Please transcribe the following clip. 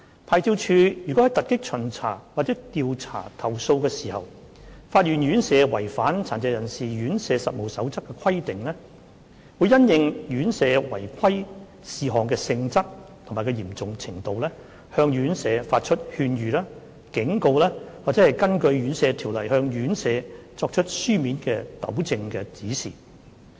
牌照處如在突擊巡查或調查投訴時發現院舍違反《殘疾人士院舍實務守則》的規定，會因應院舍違規事項的性質及嚴重程度，向院舍發出勸諭、警告或根據《殘疾人士院舍條例》向院舍作出書面糾正指示。